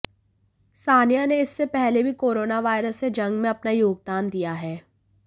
सानिया ने इससे पहले भी कोरोना वायरस से जंग में अपना योगदान दिया है